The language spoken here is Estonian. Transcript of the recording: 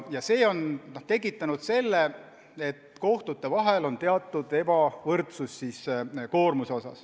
Ja see on tekitanud tõsiasja, et kohtute koormuses on teatud ebavõrdsus.